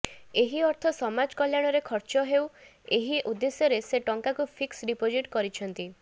ଏହି ଅର୍ଥ ସମାଜ କଲ୍ୟାଣରେ ଖର୍ଚ୍ଚ ହେଉ ଏହି ଉଦ୍ଦେଶ୍ୟରେ ସେ ଟଙ୍କାକୁ ଫିକ୍ସ ଡିପୋଜିଟ୍ କରିଛନ୍ତି